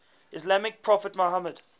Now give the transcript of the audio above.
islamic prophet muhammad